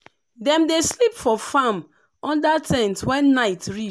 dem dey sleep for farm under ten t when night reach.